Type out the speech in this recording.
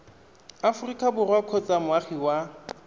aforika borwa kgotsa moagi wa